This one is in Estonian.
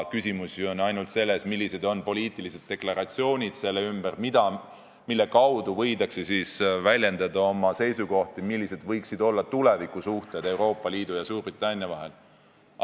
Küsimus on ju ainult selles, millised on selle ümber poliitilised deklaratsioonid, mille kaudu võidakse väljendada oma seisukohti, millised võiksid olla Euroopa Liidu ja Suurbritannia tulevikusuhted.